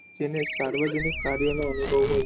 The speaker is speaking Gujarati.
જેને સાર્વજનિક કર્યો નો અનુભવ હોય